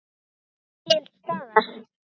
Til staðar.